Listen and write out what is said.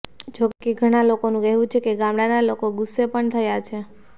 જો કેઘણા લોકોનું કહેવું છે કે ગામડાના લોકો ગુસ્સે પણ થયા છે